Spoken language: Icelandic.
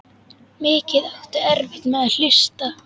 Mikið áttu erfitt með að hlusta.